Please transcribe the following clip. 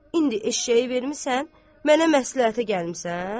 İndi eşşəyi vermisən, mənə məsləhətə gəlmisən?